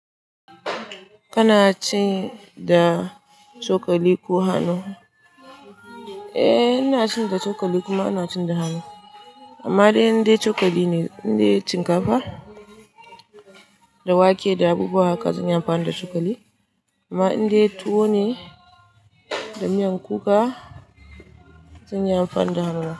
Kana ci da cokali ko hannu? Eh, ina cin da cokali kuma ina cin da hannu. Amma dai indai cokali ne, indai cinkafa da wake da abubuwa haka zan yi amfani da cokali. Amma indai tuwo ne da miyan kuka, zan yi amfani da hannu.